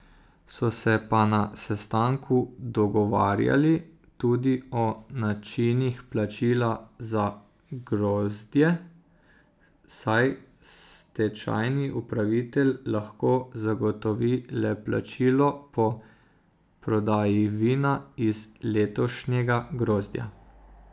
So se pa na sestanku dogovarjali tudi o načinih plačila za grozdje, saj stečajni upravitelj lahko zagotovi le plačilo po prodaji vina iz letošnjega grozdja.